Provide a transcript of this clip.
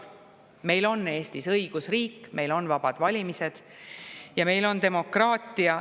Meil on Eestis õigusriik, meil on vabad valimised ja meil on demokraatia.